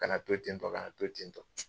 Kana to ten tɔ, kana to ten tɔ